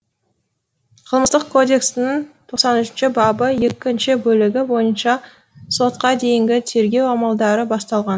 қылмыстық кодекстің тоқсан үшінші бабы екінші бөлігі бойынша сотқа дейінгі тергеу амалдары басталған